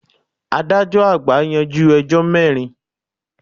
Adájọ́ àgbà yanjú ẹjọ́ mẹ́rin.